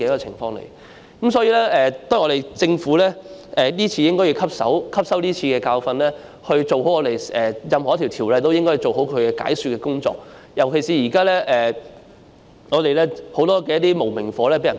因此，我覺得政府應該汲取今次的教訓，對於任何一項條例的修訂，也要做好解說的工作，尤其是現時有很多"無名火"被人撥起。